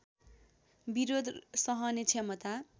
विरोध सहने क्षमता